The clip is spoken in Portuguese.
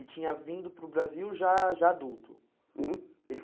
E tinha vindo para o Brasil já já adulto. Uhum Ele